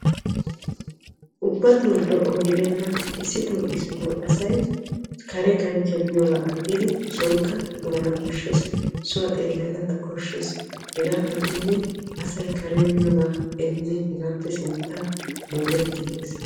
ubbatoo lo'o gidenna. issitoo issitoo asay kare kanchchiyan miyoogaa aggiidi sonkka maana koshshes. suwa xeellana koshshes. hegaa agginne asay karen miyoogaa erinne hegaappe sinttaa moorettiigges.